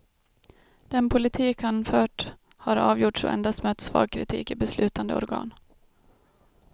Den politik han fört har avgjorts och endast mött svag kritik i beslutande organ.